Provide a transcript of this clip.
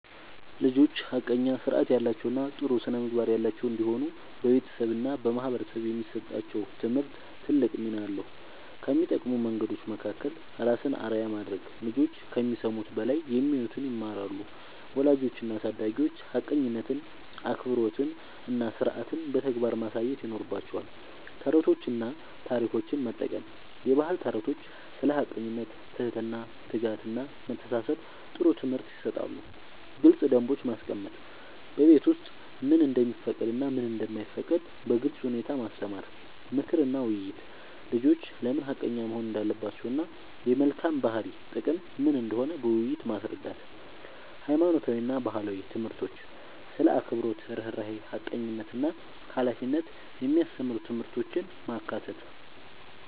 ልጆች ሐቀኛ፣ ሥርዓት ያላቸው እና ጥሩ ስነ-ምግባር ያላቸው እንዲሆኑ በቤተሰብ እና በማህበረሰብ የሚሰጣቸው ትምህርት ትልቅ ሚና አለው። ከሚጠቅሙ መንገዶች መካከል፦ ራስን አርአያ ማድረግ፦ ልጆች ከሚሰሙት በላይ የሚያዩትን ይማራሉ። ወላጆች እና አሳዳጊዎች ሐቀኝነትን፣ አክብሮትን እና ሥርዓትን በተግባር ማሳየት ይኖርባቸዋል። ተረቶችን እና ታሪኮችን መጠቀም፦ የባህል ተረቶች ስለ ሐቀኝነት፣ ትህትና፣ ትጋት እና መተሳሰብ ጥሩ ትምህርት ይሰጣሉ። ግልጽ ደንቦች ማስቀመጥ፦ በቤት ውስጥ ምን እንደሚፈቀድ እና ምን እንደማይፈቀድ በግልጽ ሁኔታ ማስተማር። ምክር እና ውይይት፦ ልጆች ለምን ሐቀኛ መሆን እንዳለባቸው እና የመልካም ባህሪ ጥቅም ምን እንደሆነ በውይይት ማስረዳት። ሃይማኖታዊ እና ባህላዊ ትምህርቶች ስለ አክብሮት፣ ርህራሄ፣ ሐቀኝነት እና ሃላፊነት የሚያስተምሩ ትምህርቶችን ማካተት።